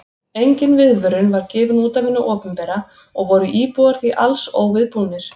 Engin viðvörun var gefin út af hinu opinbera og voru íbúar því alls óviðbúnir.